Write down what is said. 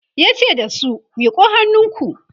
yace da su "miƙo hannunku!"